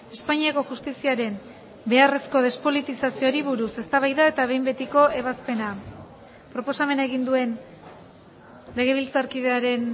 espainiako justiziaren beharrezko despolitizazioari buruz eztabaida eta behin betiko ebazpena proposamena egin duen legebiltzarkidearen